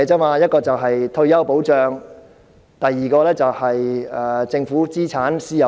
第一是退休保障，第二是政府資產私有化。